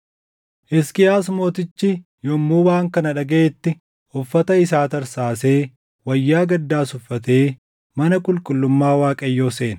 Hisqiyaas mootichi yommuu waan kana dhagaʼetti uffata isaa tarsaasee wayyaa gaddaas uffatee mana qulqullummaa Waaqayyoo seene.